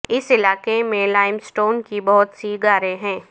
اس علاقے میں lime stone کی بہت سی غاریں ہیں